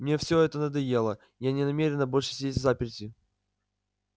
мне всё это надоело я не намерена больше сидеть взаперти